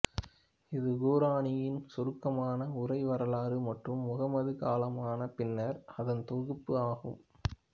இது குர்ஆனின் சுருக்கமான உரை வரலாறு மற்றும் முஹம்மது காலமான பின்னர் அதன் தொகுப்பு ஆகும்